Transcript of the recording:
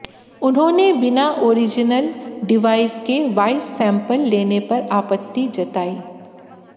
उन्होंने बिना original device के वाइस सैंपल लेने पर आपत्ति जताई